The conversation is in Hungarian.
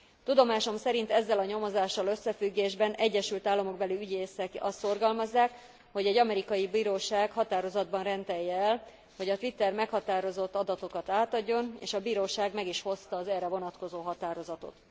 Tudomásom szerint ezzel a nyomozással összefüggésben egyesült államokbeli ügyészek azt szorgalmazzák, hogy egy amerikai bíróság határozatban rendelje el, hogy a Twitter meghatározott adatokat átadjon, és a bíróság meg is hozta az erre vonatkozó határozatot.